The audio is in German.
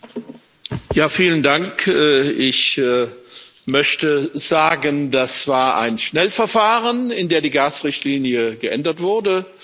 Herr Präsident! Ich möchte sagen, das war ein Schnellverfahren, in dem die Gasrichtlinie geändert wurde.